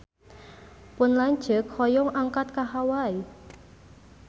Pun lanceuk hoyong angkat ka Hawai